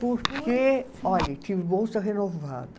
Porque, olhe, tive bolsa renovada.